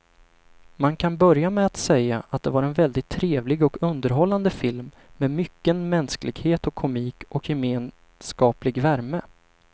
Man kan börja med att säga att det var en väldigt trevlig och underhållande film med mycken mänsklighet och komik och gemenskaplig värme.